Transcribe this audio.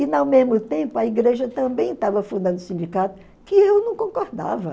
E, ao mesmo tempo, a igreja também estava fundando sindicatos que eu não concordava.